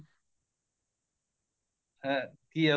ਹੈਂ ਘੀਆ